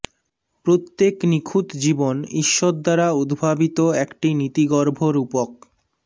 প্রত্যেক নিখুঁত জীবন ঈশ্বর দ্বারা উদ্ভাবিত একটি নীতিগর্ভ রূপক